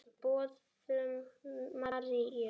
Boðun Maríu.